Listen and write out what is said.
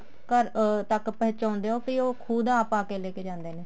ਘਰ ਅਮ ਤੱਕ ਪਹੁੰਚਾਉਂਦੇ ਓ ਕੇ ਖੁਦ ਉਹ ਆਪ ਆ ਕੇ ਲੈਕੇ ਜਾਂਦੇ ਨੇ